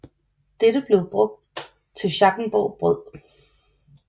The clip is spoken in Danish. Dette blev brugt til Schackenborg Brød